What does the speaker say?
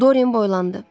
Dorien boylandı.